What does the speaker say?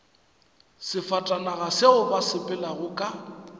sefatanaga seo ba sepelago ka